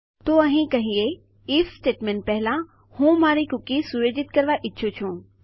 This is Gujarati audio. તો ચાલો અહીં કહીએ આઇએફ સ્ટેટમેન્ટ પહેલાં હું મારી કૂકી સુયોજિત કરવા ઈચ્છું છું